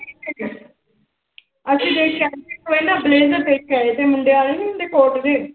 ਅਸੀਂ ਦੇਖ ਕੇ ਆਏ ਸੀ ਬਲੇਜਰ ਦੇਖ ਕੇ ਆਏ ਸੀ ਮੁੰਡੇ ਵਾਲੇ ਨੀ ਹੁੰਦੇ ਕੋਟ ਜਿਹੇ।